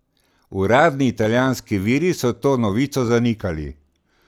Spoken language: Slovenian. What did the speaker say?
Uradni italijanski viri so to novico zanikali.